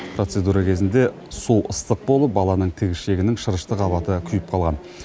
процедура кезінде су ыстық болып баланың тікішегінің шырышты қабаты күйіп қалған